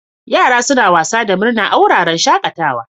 Yara suna wasa da murna a wuraren shakatawa.